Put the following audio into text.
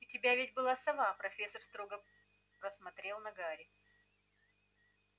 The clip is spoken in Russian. у тебя ведь была сова профессор строго посмотрел на гарри